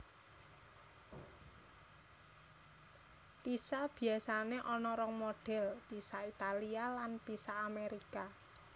Pizza biasané ana rong modèl pizza Italia lan pizza Amérika